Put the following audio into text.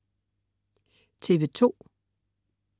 TV2: